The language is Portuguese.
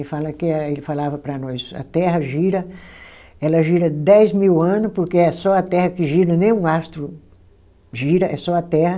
Ele fala que é, ele falava para nós, a Terra gira, ela gira dez mil ano, porque é só a Terra que gira, nem um astro gira, é só a Terra.